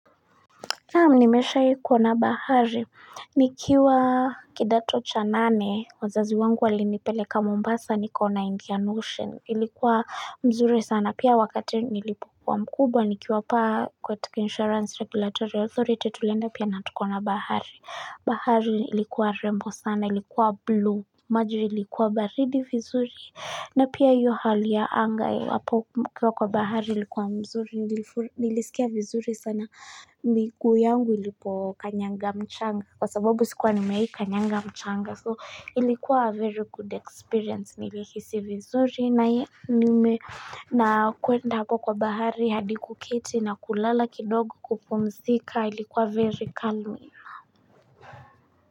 Naam nimeshawai kuona bahari. Nikiwa kidato cha nane. Wazazi wangu walinipeleka Mombasa. Nikaona Indian Ocean. Ilikuwa mzuri sana. Pia wakati nilipokua mkubwa. Nikiwa hapa kwa insurance regulatory authority. Tulienda pia na tukaona bahari. Bahari ilikuwa rembo sana. Ilikuwa blue. Maji ilikuwa baridi vizuri. Na pia hiyo hali ya angai. Hapo mkiwa kwa bahari ilikuwa mzuri nilisikia vizuri sana miguu yangu ilipo kanyanga mchanga kwa sababu sikuwa nimewai kanyanga mchanga so ilikuwa very good experience nilihisi vizuri na nime na kuenda hapo kwa bahari hadi kuketi na kulala kidogo kupumzika ilikuwa very calm.